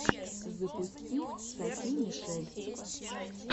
запусти софи мишель